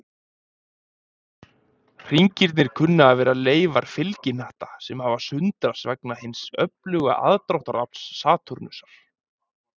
Hringirnir kunna að vera leifar fylgihnatta, sem hafa sundrast vegna hins öfluga aðdráttarafls Satúrnusar.